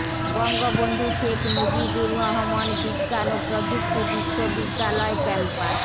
বঙ্গবন্ধু শেখ মুজিবুর রহমান বিজ্ঞান ও প্রযুক্তি বিশ্ববিদ্যালয় ক্যাম্পাস